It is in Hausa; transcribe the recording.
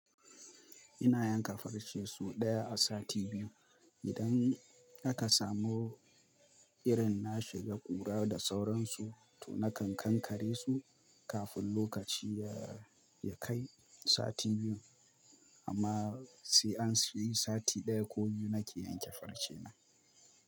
Ina yanka farce so ɗaya a sati biyu. Idan haka samu irin na shiga ƙura da sauransu, to nakan kankare su kafin lokaci ya, ya kai sati biyu. Amma sai an yi sati ɗaya ko biyu nake yanke farce na.